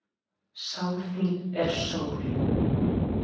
Sál þín er sól.